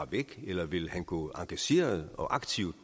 væk eller vil han gå engageret og